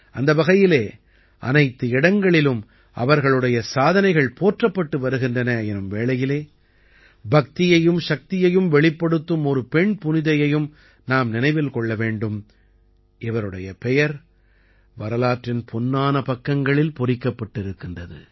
அந்த வகையிலே அனைத்து இடங்களிலும் அவர்களுடைய சாதனைகள் போற்றப்பட்டு வருகின்றன எனும் வேளையிலே பக்தியையும் சக்தியையும் வெளிப்படுத்தும் ஒரு பெண் புனிதையையும் நாம் நினைவில் கொள்ள வேண்டும் இவருடைய பெயர் வரலாற்றின் பொன்னான பக்கங்களில் பொறிக்கப்பட்டிருக்கிறது